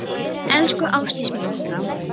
Elsku Ástdís mín.